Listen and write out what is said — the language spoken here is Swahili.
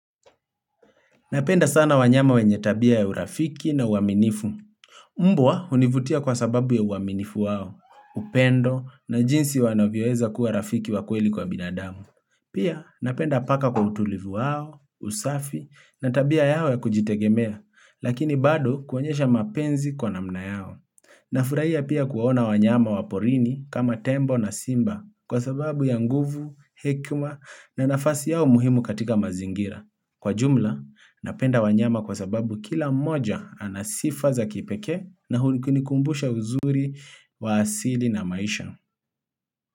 Napenda sana wanyama wenye tabia ya urafiki na uaminifu. Mbwa univutia kwa sababu ya uaminifu wao, upendo na jinsi wanavyoeza kuwa rafiki wa kweli kwa binadamu. Pia napenda paka kwa utulivu wao, usafi na tabia yao ya kujitegemea, lakini bado kuonyesha mapenzi kwa namna yao. Na furahia pia kuwaona wanyama wa porini kama tembo na simba kwa sababu ya nguvu, hekma na nafasi yao muhimu katika mazingira. Kwa jumla, napenda wanyama kwa sababu kila mmoja anasifa za kipekee na unikumbusha uzuri wa asili na maisha.